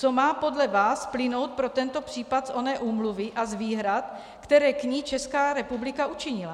Co má podle vás plynout pro tento případ z oné úmluvy a z výhrad, které k ní Česká republika učinila?